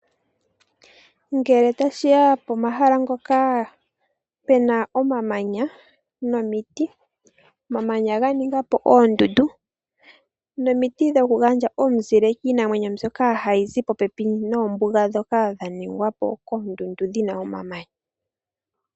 Ngele tashiya pomahala ngoka pena omamanya nomiiti, omamanya ganingapo oondundu nomiiti dhoku gandja omuzile kiinamwenyo mbyoka hayi zi popepi nombiga dhoka dhaningwapo koondundu dhina omamanya.